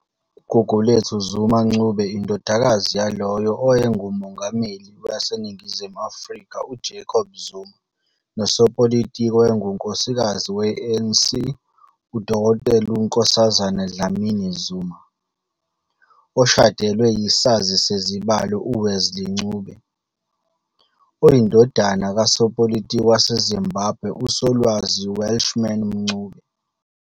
UGugulethu Zuma-Ncube, indodakazi yalowo owayenguMengameli waseNingizimu Afrika uJacob Zuma nosopolitiki owayengunkosikazi we-ANC uDkt Nkosazana Dlamini-Zuma, ushadelwe yisazi sezibalo uWesley Ncube, oyindodana kasopolitiki waseZimbabwe uSolwazi Welshman Ncube.